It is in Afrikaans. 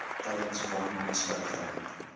tydens von nisverrigtinge